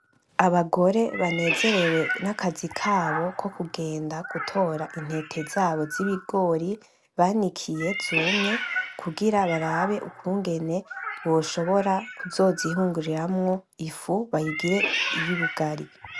Abagore banezerewe n'akazi kabo ko kugenda gutora intete zabo z'ibigori banikiye zumye kugira barabe ukungene boshobora kuzozihunguriramwo ifu bayigire iyubugari.